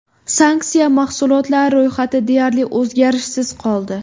Sanksiya mahsulotlari ro‘yxati deyarli o‘zgarishsiz qoldi.